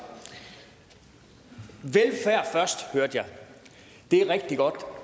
velfærd først hørte jeg det er rigtig godt